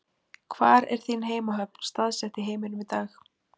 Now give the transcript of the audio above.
Hvar er þín heimahöfn staðsett í heiminum í dag?